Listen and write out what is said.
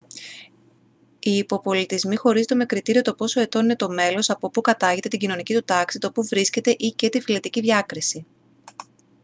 οι υποπολιτισμοί χωρίζονται με κριτήριο το πόσο ετών είναι το μέλος από που κατάγεται την κοινωνική του τάξη το που βρίσκεται ή/και την φυλετική διάκριση